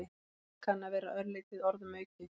Það kann að vera örlítið orðum aukið.